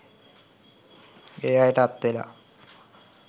ඒ අයට අත් වෙලා.